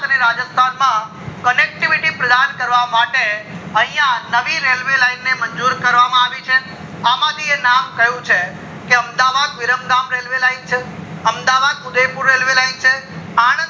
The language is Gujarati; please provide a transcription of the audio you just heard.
રાજસ્થાન connectivity માં પ્રસન કરવા માટે અયા નવી railway line ને મંજુર કરવામાં આવી છે અમથી એ નામ કય ઉચે કે અમદાવાદ વિરમગામ railway line છે, અમદાવાદ ઉદયપુર railway line છે, આનંદ